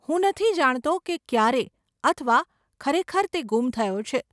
હું નથી જાણતો કે ક્યારે અથવા ખરેખર તે ગુમ થયો છે.